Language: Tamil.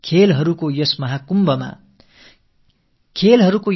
விளையாட்டுகள் சங்கமிக்கும் இந்த கும்பமேளாவில்